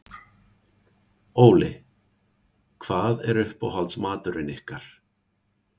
Óli: Hvað er uppáhaldsmaturinn ykkar?